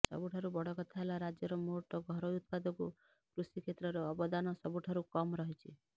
ସବୁଠାରୁ ବଡ଼ କଥା ହେଲା ରାଜ୍ୟର ମୋଟ ଘରୋଇ ଉତ୍ପାଦକୁ କୃଷି କ୍ଷେତ୍ରର ଅବଦାନ ସବୁ୍ଠାରୁ କମ୍ ରହିଛି